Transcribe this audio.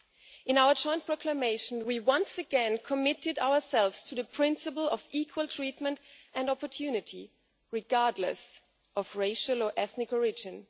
In our joint proclamation, we once again committed ourselves to the principle of equal treatment and opportunity, regardless of racial or ethnic origin.